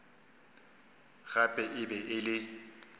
gape e be e le